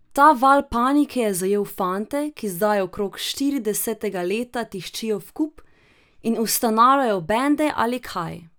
Ta val panike je zajel fante, ki zdaj okrog štiridesetega leta tiščijo vkup in ustanavljajo bende ali kaj.